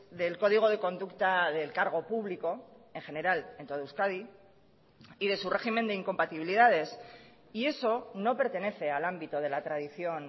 del código de conducta del cargo público en general en todo euskadi y de su régimen de incompatibilidades y eso no pertenece al ámbito de la tradición